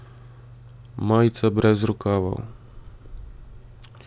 Majica brez rokavov.